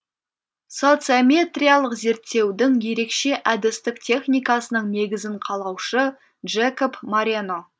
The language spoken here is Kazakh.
социометриялық зерттеудің ерекше әдістік техникасының негізін қалаушы джекоб морено